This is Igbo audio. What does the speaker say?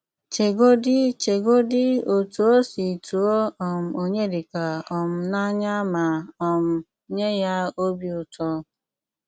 Ché́gòdí Ché́gòdí ótú ó sí túò um Ọnyédíkà um n’ányà mà um nyé yá òbí ụtọ́